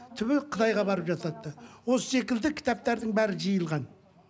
түбі қытайға барып жасатты осы секілді кітаптардың бәрі жиылған